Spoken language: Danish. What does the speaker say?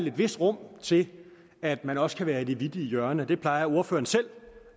et vist rum til at man også kan være i det vittige hjørne det plejer venstres ordfører selv